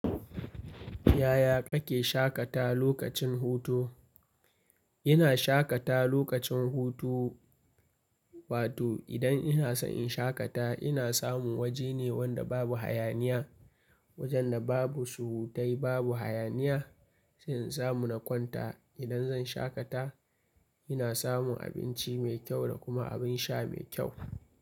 Yaya kake shaƙata wa lokacin hutu? Ina shaƙata lokacin hutu, wato idan ina so in shaƙata ina samun waje ne wanda babu hayaniya. Wajen da babu surutai babu hayaniya, sai in samu na kwanta. Idan zan shaƙata ina samun abinci mai kyau da kuma abin sha mai kyau.